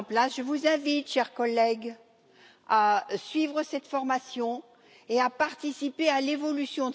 Je vous invite, chers collègues, à suivre cette formation et à participer à son évolution.